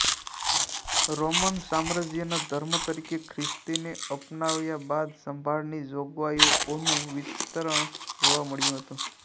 Roman સામ્રાજ્યના ધર્મ તરીકે ખ્રિસ્તીને અપનાવ્યા બાદ સંભાળની જોગવાઇઓનું વિસ્તરણ જોવા મળ્યું હતું